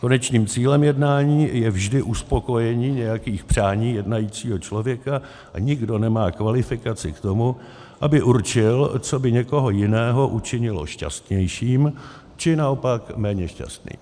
Konečným cílem jednání je vždy uspokojení nějakých přání jednajícího člověka a nikdo nemá kvalifikaci k tomu, aby určil, co by někoho jiného učinilo šťastnějším, či naopak méně šťastným.